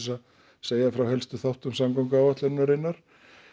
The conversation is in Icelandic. að segja frá helstu þáttum samgönguáætlunarinnar